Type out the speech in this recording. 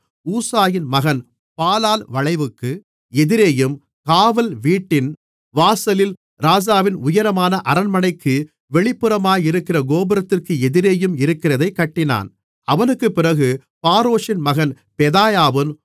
ஊசாயின் மகன் பாலால் வளைவுக்கு எதிரேயும் காவல் வீட்டின் வாசலில் ராஜாவின் உயரமான அரண்மனைக்கு வெளிப்புறமாயிருக்கிற கோபுரத்திற்கு எதிரேயும் இருக்கிறதைக் கட்டினான் அவனுக்குப் பிறகு பாரோஷின் மகன் பெதாயாவும்